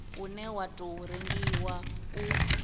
une wa tou rengiwa u